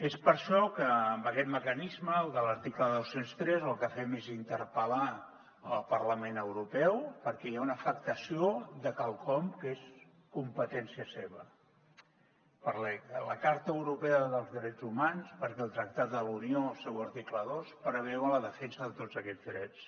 és per això que amb aquest mecanisme el de l’article dos cents i tres el que fem és interpellar el parlament europeu perquè hi ha una afectació de quelcom que és competència seva la carta europea dels drets humans perquè el tractat de la unió en el seu article dos preveu la defensa de tots aquests drets